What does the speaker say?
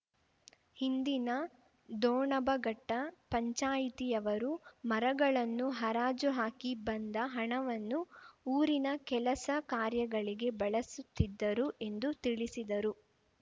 ಹಿಂದಿನ ದೊಣಬಘಟ್ಟಪಂಚಾಯಿತಿಯವರು ಮರಗಳನ್ನು ಹರಾಜು ಹಾಕಿ ಬಂದ ಹಣವನ್ನು ಊರಿನ ಕೆಲಸ ಕಾರ್ಯಗಳಿಗೆ ಬಳಸುತ್ತಿದ್ದರು ಎಂದು ತಿಳಿಸಿದರು